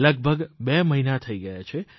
લગભગ બે મહિના થઇ ગયા છે